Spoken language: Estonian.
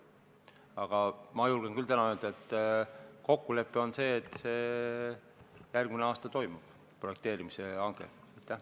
Aga ma julgen küll täna öelda, et kokkulepe on see, et järgmine aasta toimub projekteerimise hange.